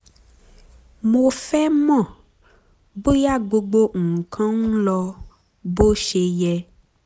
mo fẹ́ mọ̀ bóyá gbogbo nǹkan ń lọ bó ṣe yẹ